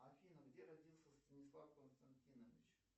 афина где родился станислав константинович